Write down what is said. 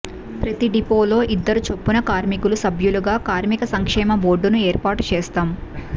ప్రతి డిపోలో ఇద్దరు చొప్పున కార్మికులు సభ్యులుగా కార్మిక సంక్షేమ బోర్డును ఏర్పాటు చేస్తాం